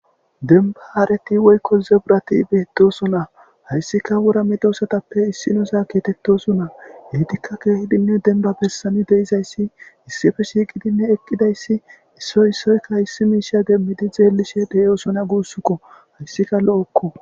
denba hareti woykko zebrati beettosona hayssika wura medoosatappe issinuza geetettosona etikka keehidinne denba bessani de7izayssi issife shiiqidinne eqqidayssi issoy issoyka issi miisha demmidi xeelishe de7osona guussukko hayssika lo7okko.